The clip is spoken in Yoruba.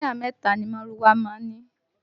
Táyà mẹ́ta ni márúwá má ń ní